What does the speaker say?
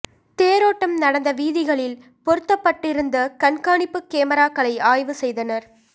தேரோட்டம் நடந்த வீதிகளில் பொருத்தப்பட்டிருந்த கண்காணிப்பு கேமிராக்களை ஆய்வு செய்தனர்